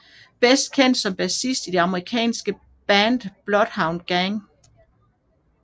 Bedst kendt som bassist i det amerikanske band Bloodhound Gang